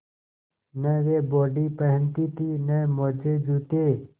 न वे बॉडी पहनती थी न मोजेजूते